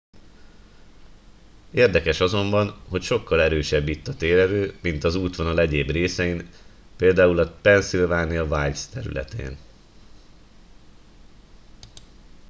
érdekes azonban hogy sokkal erősebb itt a térerő mint az útvonal egyéb részein pl a pennsylvania wilds területén